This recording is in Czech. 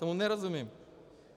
Tomu nerozumím.